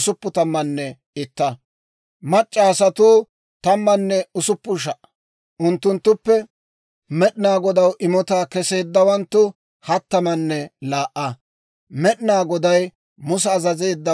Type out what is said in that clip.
Med'inaa Goday Musa azazeeddawaadan, Med'inaa Godaa gakkiyaa imotaa Muse k'eesiyaa El"aazaraw immeedda.